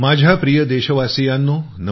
माझ्या प्रिय देशवासीयांनो